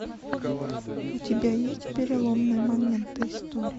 у тебя есть переломные моменты истории